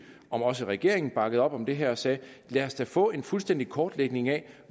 at også regeringen bakkede op om det her og sagde lad os da få en fuldstændig kortlægning af